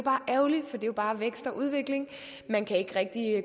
jo bare vækst og udvikling man kan ikke rigtig